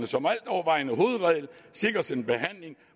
som altovervejende hovedregel sikres en behandling